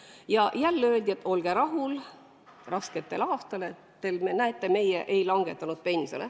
Ja jälle öeldi, et olge rahul, rasketel aastatel, näete, me pensione ei langetanud.